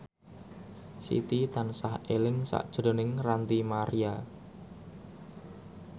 Siti tansah eling sakjroning Ranty Maria